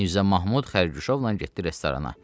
Mirzə Mahmud xərquşovla getdi restorana.